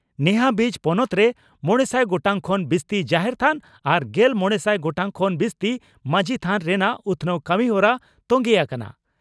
ᱱᱮᱦᱟᱵᱤᱡ ᱯᱚᱱᱚᱛᱨᱮ ᱢᱚᱲᱮᱥᱟᱭ ᱜᱚᱴᱟᱝ ᱠᱷᱚᱱ ᱵᱤᱥᱛᱤ ᱡᱟᱦᱮᱨ ᱛᱷᱟᱱ ᱟᱨ ᱜᱮᱞ ᱢᱚᱲᱮᱥᱟᱭ ᱜᱚᱴᱟᱝ ᱠᱷᱚᱱ ᱵᱤᱥᱛᱤ ᱢᱟᱹᱡᱷᱤ ᱛᱷᱟᱱ ᱨᱮᱱᱟᱜ ᱩᱛᱷᱱᱟᱹᱣ ᱠᱟᱹᱢᱤᱦᱚᱨᱟ ᱛᱚᱝᱜᱮ ᱟᱠᱟᱱᱟ ᱾